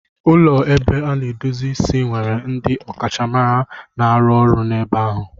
Ụlọ ebe a na-edozi isi nwere ndị ọkachamara na-arụ ọrụ n'ebe ahụ.